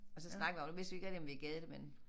Og så snakkede vi om nu vidste vi ikke rigtig om vi gad det men